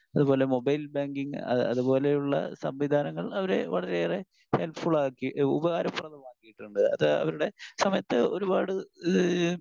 Speaker 1 അതുപോലെ mobile banking അതുപോലെയുള്ള സംവിധാനങ്ങൾ അവരെ വളരെയേറെ ഹെല്പ് ഫുള്ളാക്കി ഉപകാരപ്രദമാക്കിയിട്ടുണ്ട്. അത് അവരുടെ സമയത്ത് ഒരുപാട് ഏഹ്